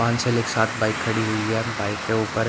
पांच सेल एक साथ बाइक खड़ी हुई है बाइक के ऊपर--